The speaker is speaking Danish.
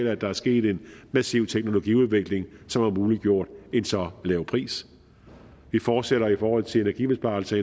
af at der er sket en massiv teknologiudvikling som har muliggjort en så lav pris vi fortsætter i forhold til energibesparelser